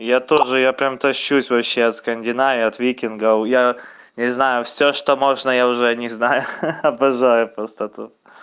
я тоже я прямо тащусь вообще от скандинавии от викинга я не знаю всё что можно я уже о них знаю обожаю просто тут